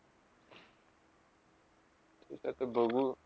इथं ते बघू.